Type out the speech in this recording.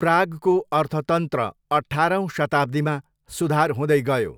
प्रागको अर्थतन्त्र अठाह्रौँ शताब्दीमा सुधार हुँदै गयो।